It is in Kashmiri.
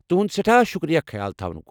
تُہنٛد سٮ۪ٹھاہ شُکریہ، خیال تھاونُک۔